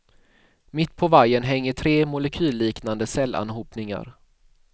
Mitt på vajern hänger tre molekylliknande cellanhopningar.